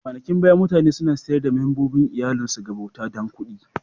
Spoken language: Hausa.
A kwanakin baya, mutane suna sayar da membobin iyallin su ga bauta dan kuɗi.